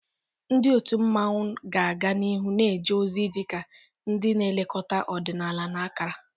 Ndị otu mmanwu ga-aga n'ihu na-eje ozi dị ka ndị na-elekọta ọdịnala na akara.